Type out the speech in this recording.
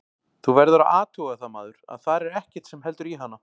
Þú verður að athuga það maður, að þar er ekkert sem heldur í hana.